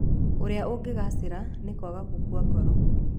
Ũrĩa Ũngĩgaacĩra nĩ kwaga gũkua ngoro.